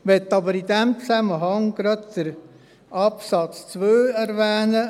Ich möchte aber in diesem Zusammenhang gerade Absatz 2 erwähnen: